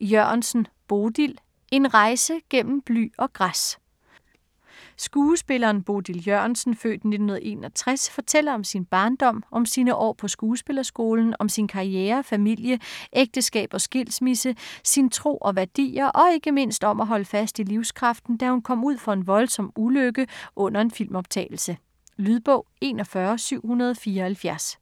Jørgensen, Bodil: En rejse gennem bly og græs Skuespilleren Bodil Jørgensen (f. 1961) fortæller om sin barndom, om sine år på skuespillerskolen, om sin karriere, familie, ægteskab og skilsmisse, sin tro og værdier, og ikke mindst om at holde fast i livskraften, da hun kom ud for en voldsom ulykke under en filmoptagelse. Lydbog 41774